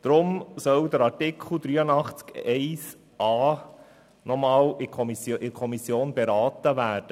Deswegen soll Artikel 83 Absatz 1 Buchstabe a nochmals in der Kommission beraten werden.